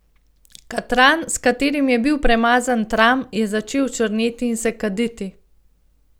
Katran, s katerim je bil premazan tram, je začel črneti in se kaditi.